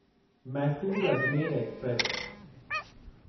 Mysore Ajmer express